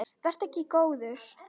Vertu ekki góður.